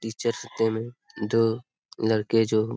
teachers day से दो लड़के जो --